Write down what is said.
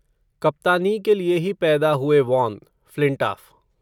कप्तानी के लिए ही पैदा हुए वॉन, फ़्लिंटाफ़